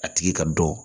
A tigi ka dɔn